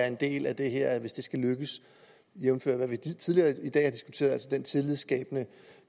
en del af det her hvis det skal lykkes jævnfør hvad vi tidligere i dag har diskuteret så den tillidsskabende